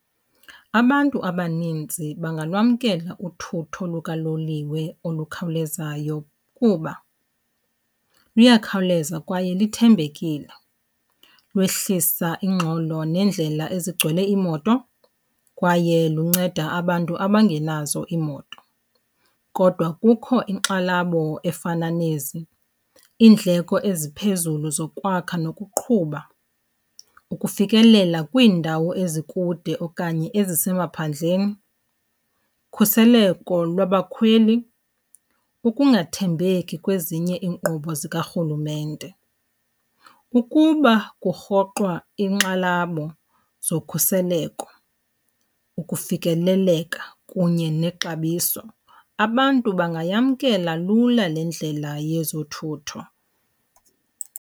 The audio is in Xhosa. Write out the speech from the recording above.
Abantu abaninzi bangalwamkela uthutho lukaloliwe olukhawulezayo kuba luyakhawuleza kwaye lithembekile, lwehlisa ingxolo neendlela ezigcwele iimoto kwaye lunceda abantu abangenazo iimoto. Kodwa kukho iinkxalabo efana nezi, iindleko eziphezulu zokwakha nokuqhuba, ukufikelela kwiindawo ezikude okanye ezisemaphandleni, ukhuseleko lwabakhweli, ukungathembeki kwezinye iinkqubo zikarhulumente. Ukuba kurhoxwa iinkxalabo zokhuseleko, ukufikeleleka kunye nexabiso, abantu bangayamkela lula le ndlela yezothutho.